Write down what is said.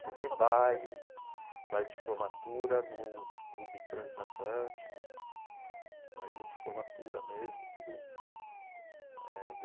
Teve baile, baile de formatura no Clube Transatlântico, bailinho de formatura mesmo, tudo eh.